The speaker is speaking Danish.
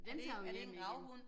Og den tager vi jo hjem igen